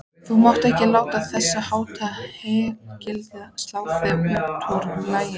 Þú mátt ekki láta þessháttar hégiljur slá þig útaf laginu.